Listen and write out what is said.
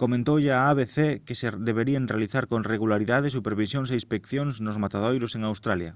comentoulle a abc que se deberían realizar con regularidade supervisións e inspeccións nos matadoiros en australia